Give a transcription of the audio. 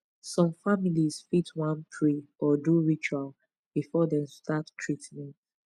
some families fit wan pray or do ritual before dem start treatment